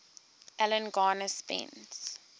alan garner spent